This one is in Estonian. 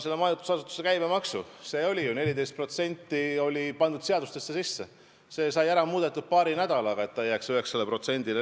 Võtame majutusasutuste käibemaksu: seadustesse oli ju 14% sisse pandud, aga see sai paari nädalaga ära muudetud, et käibemaks oleks edasi 9%.